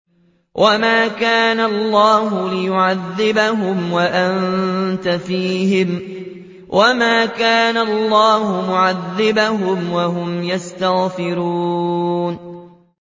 وَمَا كَانَ اللَّهُ لِيُعَذِّبَهُمْ وَأَنتَ فِيهِمْ ۚ وَمَا كَانَ اللَّهُ مُعَذِّبَهُمْ وَهُمْ يَسْتَغْفِرُونَ